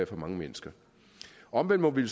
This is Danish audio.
for mange mennesker omvendt må vi